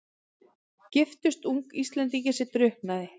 Giftist ung Íslendingi sem drukknaði.